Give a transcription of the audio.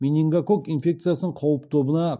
менингококк инфекциясының қауіп тобына